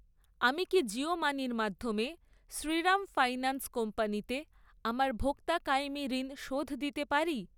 আমি কি জিও মানি র মাধ্যমে শ্রীরাম ফাইন্যান্স কোম্পানিতে আমার ভোক্তা কায়েমী ঋণ শোধ দিতে পারি?